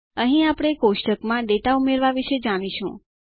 અહીં આપણે કોષ્ટકમાં ડેટા ઉમેરવા વિશે જાણીશું